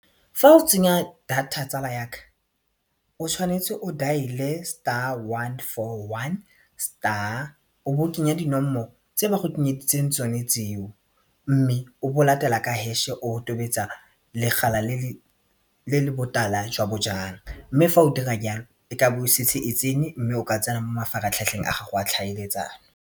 Fa o tsenya data tsala yaka o tshwanetse o dial-e star one four one star o bo kenya dinomoro tse ba go kenyeditseng tsone tseo mme o bo latela ka hash-e o tobetsa legala le le botala jwa bojang mme fa o dira jalo e ka bo e setse e tsene mme o ka tsena mo mafaratlhatlheng a gago a tlhaeletsano.